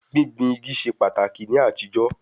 Gbíngbin igi ṣe pàtàkì ní àtijọ́